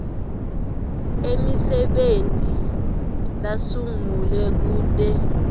emisebenti lasungulwe kute